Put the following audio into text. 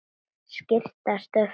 Skýrum stöfum.